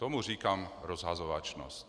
Tomu říkám rozhazovačnost!